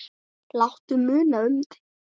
Láttu muna um þig.